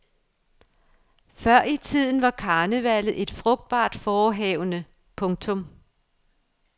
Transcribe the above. Før i tiden var karnevallet et frugtbart forehavende. punktum